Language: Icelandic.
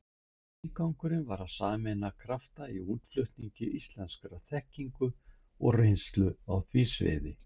Tilgangurinn var að sameina krafta í útflutningi íslenskrar þekkingar og reynslu á því sviði.